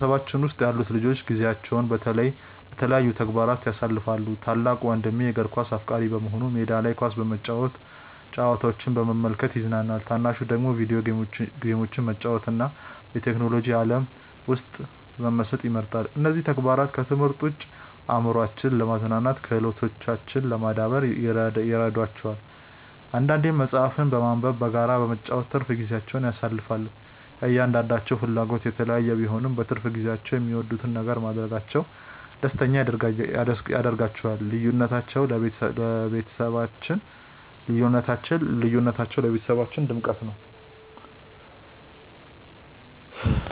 በቤተሰባችን ውስጥ ያሉት ልጆች ጊዜያቸውን በተለያዩ ተግባራት ያሳልፋሉ። ታላቅ ወንድሜ የእግር ኳስ አፍቃሪ በመሆኑ ሜዳ ላይ ኳስ በመጫወትና ጨዋታዎችን በመመልከት ይዝናናል። ታናሹ ደግሞ የቪዲዮ ጌሞችን መጫወትና በቴክኖሎጂ ዓለም ውስጥ መመሰጥ ይመርጣል። እነዚህ ተግባራት ከትምህርት ውጭ አእምሯቸውን ለማዝናናትና ክህሎታቸውን ለማዳበር ይረዷቸዋል። አንዳንዴም መጽሐፍትን በማንበብና በጋራ በመጫወት ትርፍ ጊዜያቸውን ያሳልፋሉ። የእያንዳንዳቸው ፍላጎት የተለያየ ቢሆንም፣ በትርፍ ጊዜያቸው የሚወዱትን ነገር ማድረጋቸው ደስተኛ ያደርጋቸዋል። ልዩነታቸው ለቤተሰባችን ድምቀት ነው።